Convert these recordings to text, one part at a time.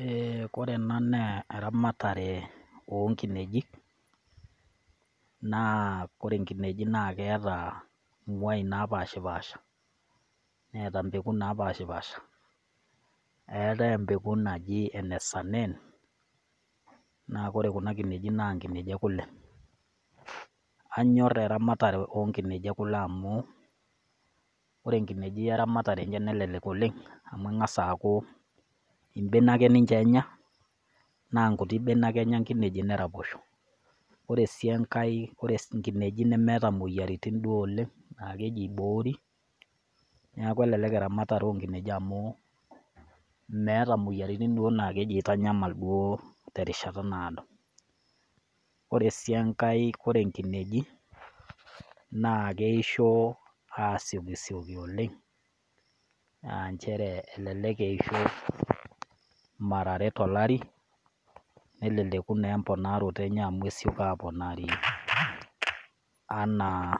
Eeh, kore enaa naa eramatare oo nkinejik, naa ore inkinejik naa keata imwai napaashipaasha, neata impeku napaashipasha, eatai empeko naji ene Saanen, naa ore kuna kinejik naa inkinejik e kule . Aanyor eramatare o nkinejik e kule amu, kore inkinejik eramatare enye nelelek oleng' amu ing'as aaku imbenek ninche enya naa inkutik benek ake enya inkinejik neraposho. Kore sii enkai ikinejik nemeata imoyiariti kumok oleng' naa keji eiboori, neaku elelek eramatare o nkinejik amu meata imoyiaritin naa kajo keitanyamal duo te erishata naado. Ore sii enkai ore inkinejik naa keishoo aasiokisioki oleng', aa nchere elelek eisho mara are tolari, neleleku naa empoonaoto enye amu esioki apoonari anaa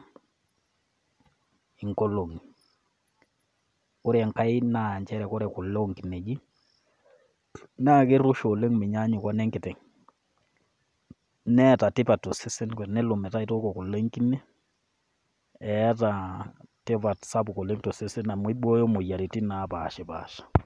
inkolong'i. Ore enkai naa ore kule oo nkinejik, naa keirusha oleng' meinyanyuk wo enenkiteng'. Neata tipat tosesen metaa ore peelo nitooko kule enkine, eata tipat sapuk oleng' to sesen amu eibooyo imoyiaritin napaashipaasha.